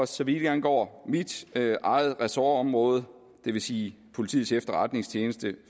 så vidt angår mit eget ressortområde det vil sige politiets efterretningstjeneste